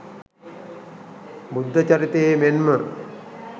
බුද්ධචරිතයේ මෙන්ම